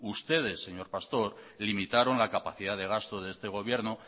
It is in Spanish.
ustedes señor pastor limitaron la capacidad de gasto de este gobierno